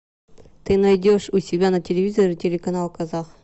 ты найдешь у себя на телевизоре телеканал казах